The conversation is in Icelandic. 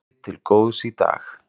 Gengið til góðs í dag